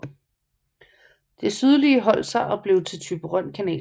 Det sydlige holdt sig og blev til Thyborøn Kanal